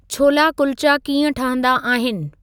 छोला कुलचा कीअं ठहंदा आहिनि